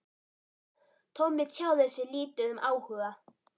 Tommi tjáði sig lítið um áhuga